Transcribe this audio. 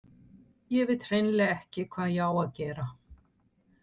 Ég veit hreinlega ekki hvað ég á að gera.